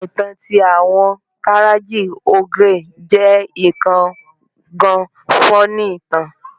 Awọn itan ti awọn Karachi Ogre je kan gan funny itan